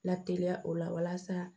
Lateliya o la walasa